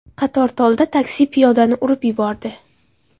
Qatortolda taksi piyodani urib yubordi.